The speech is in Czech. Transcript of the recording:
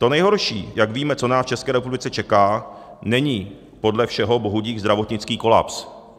To nejhorší, jak víme, co nás v České republice čeká, není podle všeho bohudík zdravotnický kolaps.